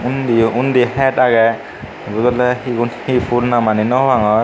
Indiyo undi het agey ebun olode he fhul namani no pangor.